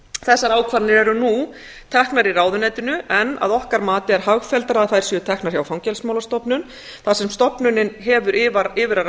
þessar ákvarðanir eru nú teknar í ráðuneytinu en að okkar mati er hagfelldara að þær séu teknar hjá fangelsismálastofnun þar sem stofnunin hefur yfir að